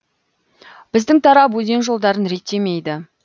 біздің тарап өзен жолдарын реттемейді